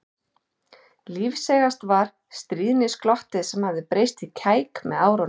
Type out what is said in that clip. Lífseigast var stríðnisglottið sem hafði breyst í kæk með árunum.